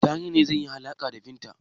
Dari ne zai yi alaƙa da Binta.